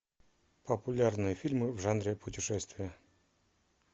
популярные фильмы в жанре путешествия